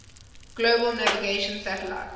global navigation satellite